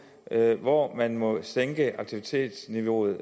hvor man fremadrettet må sænke aktivitetsniveauet